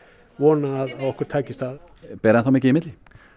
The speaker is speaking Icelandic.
vona að okkur takist það ber enn þá mikið í milli